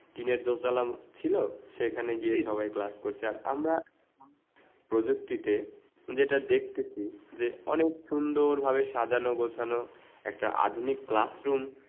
টিনের দর্জালান ছিল সেখানে গিয়ে সবাই class করছে আর আমরা প্রযুক্তিতে যেটা দেখতেছি অনেক সুন্দর ভাবে সাজানো গোছানো একটা আধুনিক classroom